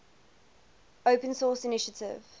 open source initiative